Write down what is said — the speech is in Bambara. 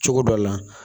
Cogo dɔ la